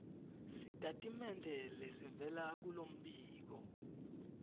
sitatimende lesivela kulombiko